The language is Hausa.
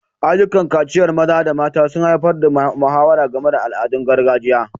Ayyukan kaciyar maza da mata sun haifar da muhawara game da al'adun gargajiya.